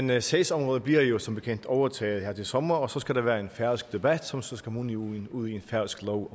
men sagsområdet bliver jo som bekendt overtaget her til sommer og så skal der være en færøsk debat som så skal munde ud ud i en færøsk lov